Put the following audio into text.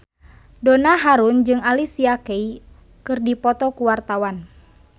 Donna Harun jeung Alicia Keys keur dipoto ku wartawan